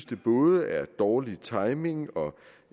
det både er dårlig timing og